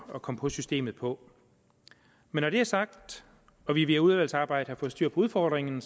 at komme på systemet på men når det er sagt og vi ved udvalgsarbejdet har fået styr på udfordringen